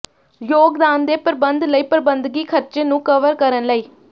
ਯੋਗਦਾਨ ਦੇ ਪ੍ਰਬੰਧ ਲਈ ਪ੍ਰਬੰਧਕੀ ਖਰਚੇ ਨੂੰ ਕਵਰ ਕਰਨ ਲਈ